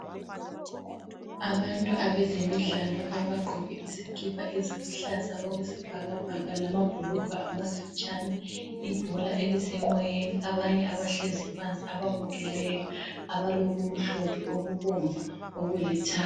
Abantu abezemidlalo abagqoke izikipa eziluhlaza okwesibhakabhaka lamabhulugwe amafitshane. Ibhola elisemoyeni, abanye abahlezi phansi ababukeleyo abalokumhlophe, okubomvu ,okulithanga.